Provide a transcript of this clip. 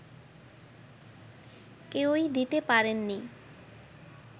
কেউই দিতে পারেননি